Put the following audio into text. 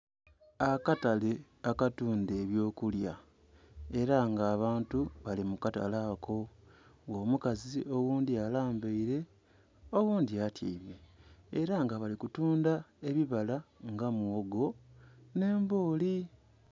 Akatale akatunda eby'okulya, ela nga abantu bali mu katale ako. Nga omukazi oghundhi alambaile oghundhi atyaime. Ela nga bali kutunda ebibala nga muwogo, nh'embooli.